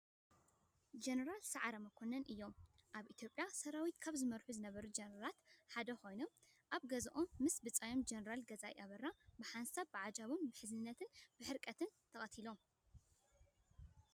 ጀነራል ሰዓረ መኮነን እዮም። ኣብ ኢትዮጵያ ሰራዊት ካብ ዝመርሑ ዝነበሩ ጀነራላት ሓደ ኮይኖም፣ ኣብ ገዝኦም ምስ ብፃዮም ጀነራል ገዛኢ ኣበራ ብሓንሳብ ብዓጃብኦም ብዝሕዝንን ዝሕርቅን ተቀቲሎም።